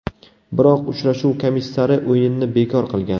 Biroq uchrashuv komissari o‘yinni bekor qilgan.